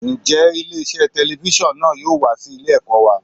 Ǹjẹ́ ilé iṣẹ́ telifíṣàn náà yóò wá sí ilé ẹ̀kọ́ wa?